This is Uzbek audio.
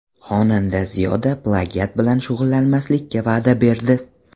Xonanda Ziyoda plagiat bilan shug‘ullanmaslikka va’da berdi.